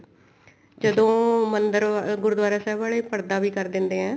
ਜਦੋਂ ਮੰਦਿਰ ਗੁਰੂਦੁਆਰਾ ਸਾਹਿਬ ਵਾਲੇ ਪਰਦਾ ਵੀ ਕਰ ਦਿੰਦੇ ਆ